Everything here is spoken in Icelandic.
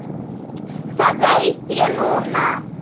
Það veit ég núna.